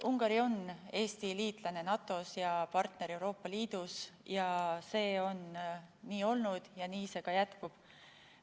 Ungari on Eesti liitlane NATO-s ja partner Euroopa Liidus, see on nii olnud ja see nii ka jätkub.